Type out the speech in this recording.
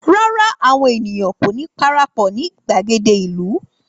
Rárá, àwọn ènìyàn kò ní parapọ̀ ní gbàgede ìlú